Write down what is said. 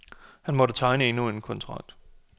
Han måtte tegne endnu en kontrakt.